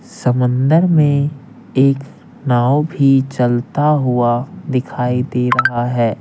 समंदर में एक नाव भी चलता हुआ दिखाई दे रहा है।